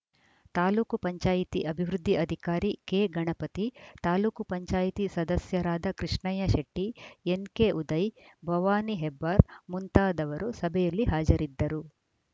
ತಾಲೂಕು ಪಂಚಾಯಿತಿ ಅಭಿವೃದ್ಧಿ ಅಧಿಕಾರಿ ಕೆಗಣಪತಿ ತಾಲೂಕ್ ಪಂಚಾಯತ್ ಸದಸ್ಯರಾದ ಕೃಷ್ಣಯ್ಯ ಶೆಟ್ಟಿ ಎನ್‌ಕೆ ಉದಯ್‌ ಭವಾನಿ ಹೆಬ್ಬಾರ್‌ ಮುಂತಾದವರು ಸಭೆಯಲ್ಲಿ ಹಾಜರಿದ್ದರು